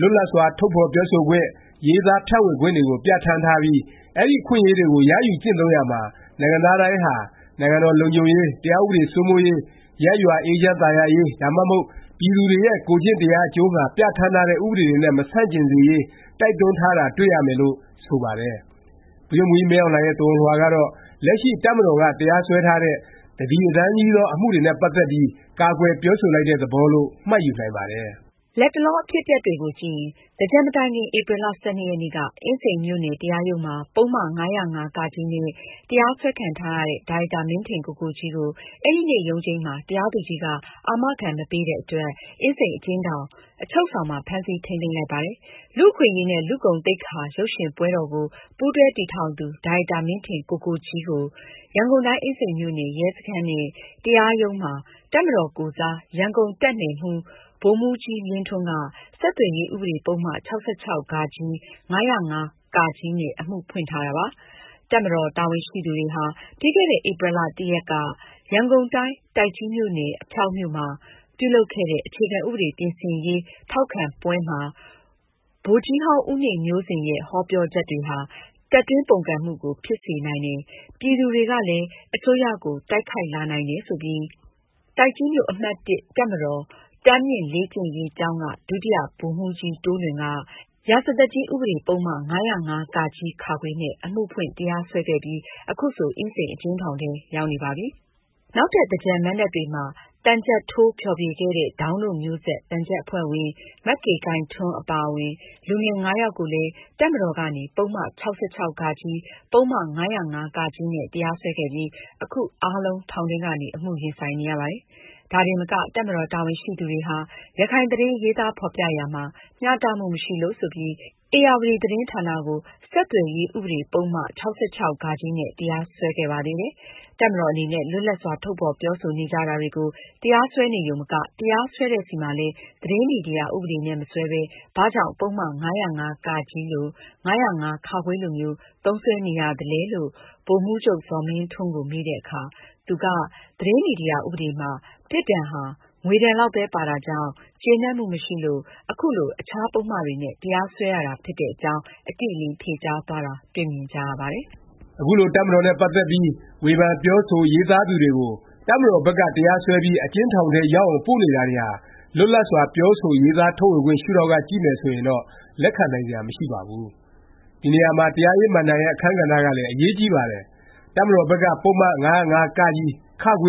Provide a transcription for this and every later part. လွတ်လပ်စွာ ထုတ်ဖော်ပြောဆိုခွင့်၊ ရေးသားဖြန့်ဝေခွင့်တွေကို ပြဌာန်းထားပြီး အဲဒီ အခွင့်အရေးကို ရယူကျင့်သုံးရာမှာ နိုင်ငံသားတိုင်းဟာ နိုင်ငံတော် လုံခြုံရေး၊ တရားဥပဒေ စိုးမိုးရေး၊ ရပ်ရွာ အေးချမ်းသာယာရေး ဒါမှမဟုတ် ပြည်သူတွေရဲ့ ကိုယ်ကျင့်တရား အကျိုးငှာ ပြဌာန်းထားတဲ့ ဥပဒေတွေနဲ့ မဆန့်ကျင်စေရေး တိုက်တွန်းထားတာ တွေ့ရမယ်လို့ ဆိုပါတယ်။ ဗိုလ်ချုပ်မှူးကြီး မင်းအောင်လှိုင်ရဲ့ သဝဏ်လွှာကတော့ လက်ရှိ တပ်မတော်က တရားစွဲထားတဲ့ တသီတတန်းကြီးသော အမှုတွေနဲ့ ပတ်သက်ပြီး ကာကွယ်ပြောဆိုလိုက်တဲ့ သဘောလို့ မှတ်ယူနိုင်ပါတယ်။ လတ်တလော အဖြစ်အပျက်တွေကို ကြည့်ရင် သင်္ကြန်မတိုင်ခင် ဧပြီလ ၁၂ ရက်နေ့က အင်းစိန်မြို့နယ် တရားရုံးမှာ ပုဒ်မ ၅၀၅ နဲ့ တရားစွဲခံထားရတဲ့ ဒါရိုက်တာ မင်းထင်ကိုကိုကြီးကို အဲဒီနေ့ ရုံးချိန်းမှာ တရားသူကြီးက အာမခံ မပေးတဲ့အတွက် အင်းစိန် အကျဉ်းထောင်၊ အချုပ်ဆောင်မှာ ဖမ်းဆီး ထိမ်းသိမ်းလိုက်ပါတယ်။ လူ့အခွင့်အရေးနဲ့ လူ့ဂုဏ်သိက္ခာ ရုပ်ရှင်ပွဲတော်ကို ပူးတွဲ တည်ထောင်သူ ဒါရိုက်တာ မင်းထင်ကိုကိုကြီးကို ရန်ကုန်တိုင်း အင်းစိန်မြို့နယ် ရဲစခန်းနဲ့ တရားရုံး မှာ တပ်မတော်ကိုယ်စား ရန်ကုန်တပ်နယ်မှူး ဗိုလ်မှူးကြီးလင်းထွန်းက ဆက်သွယ်ရေး ဥပဒေ ပုဒ်မ ၆၆ ၊ ၅၀၅ နဲ့ အမှုဖွင့်ထားတာ ဖြစ်ပါတယ်။ တပ်မတော် တာဝန်ရှိသူတွေဟာ ပြီးခဲ့တဲ့ ဧပြီ ရက်က ရန်ကုန်တိုင်း၊ တိုက်ကြီးမြို့နယ်၊ အဖျောက်မြို့မှာ ပြုလုပ်ခဲ့တဲ့ အခြေခံဥပဒေပြင်ဆင်ရေးထောက်ခံပွဲမှာ ဗိုလ်ကြီးဟောင်း ဦးနေမျိုးဇင်ရဲ့ ဟောပြောချက် တွေဟာ တပ်တွင်းပုန်ကန်မှုကို ဖြစ်စေနိုင်တယ်၊ ပြည်သူတွေကလည်း အစိုးရကို တိုက်ခိုက်လာနိုင်တယ် ဆိုပြီး တိုက်ကြီးမြို့ အမှတ် တပ်မတော် တန်းမြင့်လေ့ကျင့်ရေးကျောင်းက ဒုတိယဗိုလ်မှူးကြီး တိုးလွင်က ရာဇသတ်ကြီး ဥပဒေပုဒ်မ ၅၀၅ နဲ့ အမှုဖွင့် တရားစွဲခဲ့ပြီး ခုဆို အင်းစိန် အကျဉ်းထောင်ထဲ ရောက်နေပါပြီ။ နောက်ထပ် သင်္ကြန်မဏ္ဍပ်တွေမှာ သံချပ်ထိုး ဖျော်ဖြေ ခဲ့တဲ့ ဒေါင်းတို့မျိုးဆက် သံချပ်အဖွဲ့ဝင် မကေခိုင်ထွန်းအပါအဝင် လူငယ် ၅ ယောက်ကိုလဲ တပ်မတော်ကနေ ပုဒ်မ ၆၆ ၊ ပုဒ်မ ၅၀၅ နဲ့ တရားစွဲခဲ့ပြီး အခု အားလုံး ထောင်ထဲကနေ အမှုရင်ဆိုင်နေရပါတယ်။ ဒါတင်မက တပ်မတော် တာဝန်ရှိသူတွေဟာ ရခိုင်သတင်း ရေးသားဖော်ပြရာမှာ မျှတမှု မရှိလို့ ဆိုပြီး ဧရာဝတီ သတင်းဌာနကို ဆက်သွယ်ရေး ဥပဒေ ပုဒ်မ ၆၆ နဲ့ တရားစွဲခဲ့ပါသေးတယ်။ တပ်မတော် အနေနဲ့ လွတ်လပ်စွာ ထုတ်ဖော် ပြောဆိုနေကြတာတွေကို တရားစွဲနေရုံမက၊ တရားစွဲတဲ့ဆီမှာလည်း သတင်းမီဒီယာ ဥပဒေနဲ့ မစွဲပဲ ဘာကြောင့် ပုဒ်မ ၅၀၅ လို၊ ၅၀၅ လိုမျိုး သုံးစွဲနေရသလဲ ဗိုလ်မှူးချုပ် ဇော်မင်းထွန်းကို မေးတဲ့အခါ သူက သတင်းမီဒီယာ ဥပဒေမှာ ပြစ်ဒဏ်ဟာ ငွေဒဏ်လောက်ပဲ ပါတာကြောင့် ကျေနပ်မှု မရှိလို့ ခုလို အခြား ပုဒ်မတွေနဲ့ တရားစွဲရတာ ဖြစ်တဲ့အကြောင်း အတိအလင်း ဖြေကြားသွားတာ တွေ့မြင်ကြရပါတယ်။ အခုလို တပ်မတော်နဲ့ ပတ်သက်ပြီး ဝေဖန်၊ ပြောဆို၊ ရေးသားသူတွေကို တပ်မတော်ဘက်က တရားစွဲပြီး အကျဉ်းထောင်ထဲ ရောက်အောင် ပို့နေတာတွေဟာ လွတ်လပ်စွာ ပြောဆို ရေးသားထုတ်ဖော်ခွင့် ရှုဒေါင့်က ကြည့်မယ် ဆိုရင်တော့ လက်ခံနိုင်စရာ မရှိပါဘူး။ ဒီနေရာမှာ တရားရေးမဏ္ဍိုင်ရဲ့ အခန်းကဏ္ဍကလည်း အရေးကြီးပါတယ်။ တပ်မတော်ဘက်က ပုဒ်မ ၅၀၅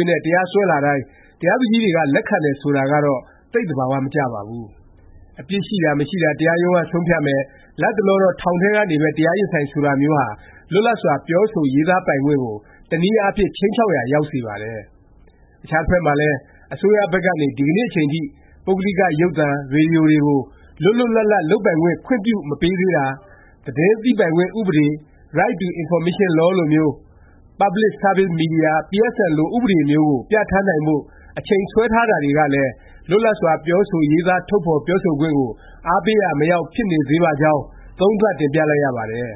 နဲ့ တရားစွဲလာတိုင်း တရားသူကြီးတွေက လက်ခံတယ် ဆိုတာကတော့ သိပ် သဘာ၀ မကျပါဘူး။ အပြစ်ရှိတာ မရှိတာ တရားရုံးက ဆုံးဖြတ်မယ်၊ လတ်တလောတော့ ထောင်ထဲကနေပဲ တရားရင်ဆိုင် ဆိုတာမျိုးဟာ လွတ်လပ်စွာ ပြောဆို ရေးသားပိုင်ခွင့်ကို တစ်နည်းအားဖြင့် ခြိမ်းခြောက်ရာ ရောက်စေပါတယ်။ အခြားတစ်ဖက်မှာလည်း အစိုးရဘက်ကနေ ဒီကနေ့ အချိန်ထိ ပုဂ္ဂလိက ရုပ်သံ၊ ရေဒီယို တွေကို လွတ်လွတ်လပ်လပ် လုပ်ပိုင်ခွင့် ခွင့်ပြုမပေးသေးတာ၊ သတင်းသိပိုင်ခွင့် ဥပဒေ Right to information law လိုမျိုး၊ Public services Media, PSM လို ဥပဒေမျိုးကို ပြဌာန်းနိုင်ဖို့ အချိန်ဆွဲထားတာတွေကလည်း လွတ်လပ်စွာ ပြောဆို ရေးသား ထုတ်ဖော် ပြောဆိုခွင့်ကို အားပေးရာ မရောက် ဖြစ်နေသေးပါကြောင်း သုံးသပ် တင်ပြလိုက်ရပါတယ်။